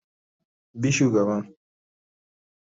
Bi shugaban